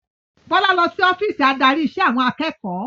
Bọlá lọ sí ọ́fíìsì adarí ìṣe àwọn akẹ́kọ̀ọ́